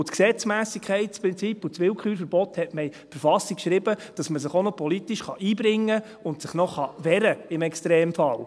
Das Gesetzmässigkeitsprinzip und das Willkürverbot hat man in die Verfassung geschrieben, damit man sich im Extremfall auch noch politisch einbringen und sich auch noch wehren kann.